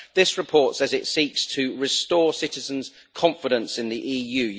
This report says it seeks to restore citizens' confidence in the EU.